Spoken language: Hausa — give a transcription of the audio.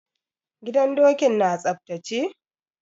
Gidan dokin na tsaftace?